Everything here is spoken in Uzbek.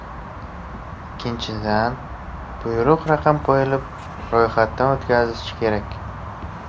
Ikkinchidan, buyruq raqam qo‘yilib, ro‘yxatdan o‘tkazilishi kerak.